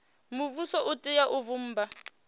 muvhuso u tea u vhumba